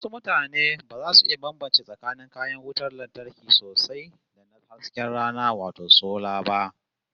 Wasu mutanen ba za su iya bambance tsakanin kayan wutar lantarkin sosai da na hasken rana wato sola ba